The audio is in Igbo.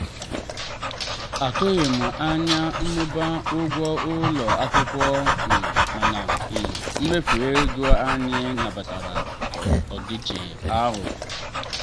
atụghị m anya mmụba ụgwọ ụlọ akwụkwọ um mana um mmefu ego anyị nabatara ọdịiche ahụ.